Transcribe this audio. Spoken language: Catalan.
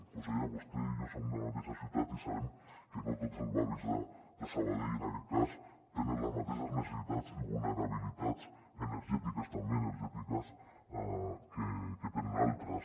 consellera vostè i jo som de la mateixa ciutat i sabem que no tots els barris de sabadell en aquest cas tenen les mateixes necessitats i vulnerabilitats energètiques també energètiques que tenen altres